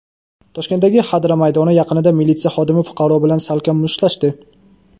Toshkentdagi Xadra maydoni yaqinida militsiya xodimi fuqaro bilan salkam mushtlashdi.